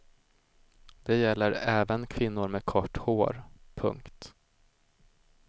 Det gäller även kvinnor med kort hår. punkt